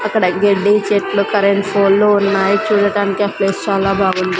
అక్కడ గెడ్డి చెట్లు కరెంట్ ఫోల్లు ఉన్నాయి చూడటానికి ఆ ప్లేస్ చాలా బాగుంది.